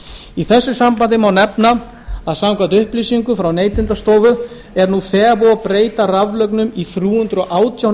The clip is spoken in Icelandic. í þessu sambandi má nefna að samkvæmt upplýsingum frá neytendastofu er nú þegar búið að breyta raflögnum í þrjú hundruð og átján